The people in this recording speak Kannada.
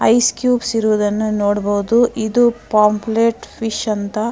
ಐಸ್ ಕ್ಯೂಬ್ಸ್ ಇರುವುದನ್ನ ನೋಡಬಹುದು ಇದು ಪೋಮ್ಪ್ರೇಟ್ ಫಿಶ್ ಅಂತ.